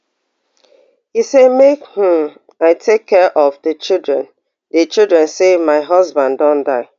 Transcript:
e say make um i take care of di children di children say my husband don die